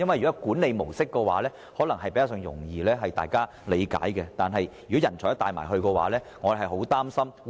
若是管理模式，大家可能較易理解，但若要連人才也帶走，則會令人十分擔心。